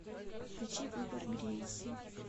включи выбор грейси